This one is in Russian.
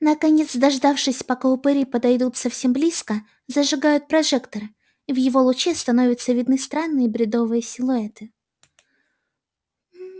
наконец дождавшись пока упыри подойдут совсем близко зажигают прожектор и в его луче становятся видны странные бредовые силуэты